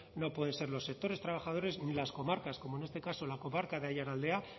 no pueden ser los sectores trabajadores ni las comarcas como en este caso la comarca de aiaraldea